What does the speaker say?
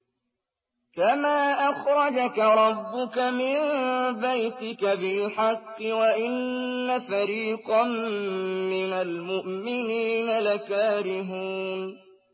كَمَا أَخْرَجَكَ رَبُّكَ مِن بَيْتِكَ بِالْحَقِّ وَإِنَّ فَرِيقًا مِّنَ الْمُؤْمِنِينَ لَكَارِهُونَ